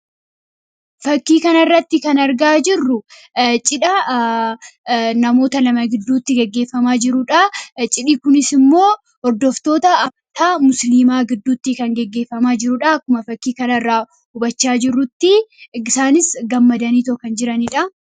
Fakkii kanarraatti kan argaa jirru cidha namoota lama gidduutti, gaggeefamaa jirudha. Cidhi kunisimmoo hordoftoota amantaa musliimaa gidduutti kan gaggeefamaa jirudha. Akkuma fakkii kanarraa hubachaa jirrutti isaanis gammadaniito kan jiranidha.